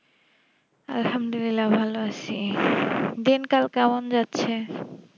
আলহামদুলিল্লাহ ভালো আছি দিনকাল কেমন যাচ্ছে